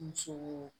Muso